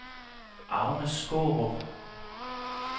Agnes Skaarup